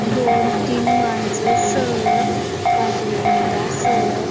दोन तीन माणसा स बाजू ला इटा स--